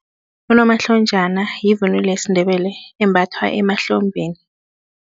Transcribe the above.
Unomahlonjana yivunulo yesiNdebele embathwa emahlombeni.